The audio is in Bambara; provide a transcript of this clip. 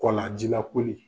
Kɔla ji la koli